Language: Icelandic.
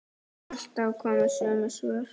Alltaf komu sömu svör.